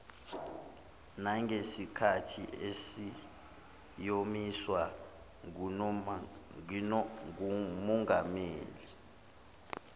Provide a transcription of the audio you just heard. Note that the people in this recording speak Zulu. nangesikhathi esiyomiswa ngumongameli